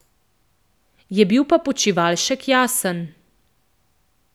Je bil pa Počivalšek jasen.